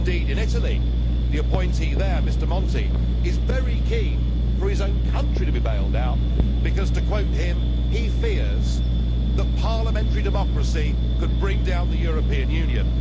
Indeed in Italy, the appointee there, Mr Monti, is very keen for his own country to be bailed out because, to quote him, he fears that parliamentary democracy could bring down the European Union.